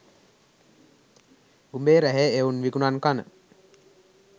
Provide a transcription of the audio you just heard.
උඹේ රැහේ එවුන් විකුනන් කන